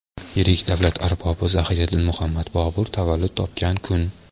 yirik davlat arbobi Zahiriddin Muhammad Bobur tavallud topgan kun.